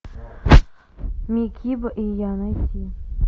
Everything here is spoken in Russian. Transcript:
микибо и я найти